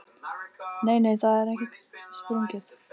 Nei, nei, það er ekkert sprungið.